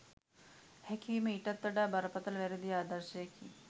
හැකි වීම ඊටත් වඩා බරපතල වැරදි ආදර්ශයකි.